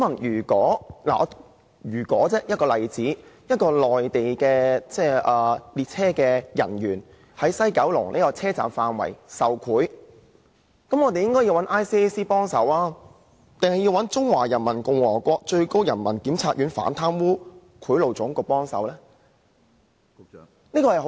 如果一名內地的列車職員在九龍總站範圍受賄，我想問局長，應該由 ICAC 處理，還是由中華人民共和國最高人民檢察院反貪污賄賂總局處理呢？